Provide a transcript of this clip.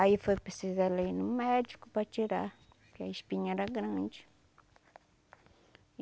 Aí foi preciso ela ir no médico para tirar, porque a espinha era grande.